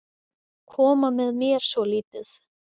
Koma með mér svolítið.